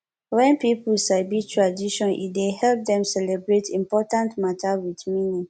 wen pipo sabi tradition e dey help dem celebrate important mata wit meaning